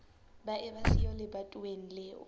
ba eba siyo lebatoweng leo